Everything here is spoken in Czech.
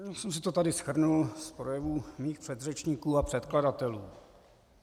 Já jsem si to tady shrnul z projevů svých předřečníků a předkladatelů.